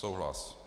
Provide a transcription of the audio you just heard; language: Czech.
Souhlas.